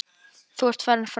Þú ert farin frá okkur.